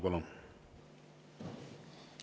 Palun!